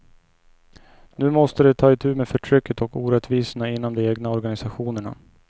Nu måste de ta itu med förtrycket och orättvisorna inom de egna organisationerna.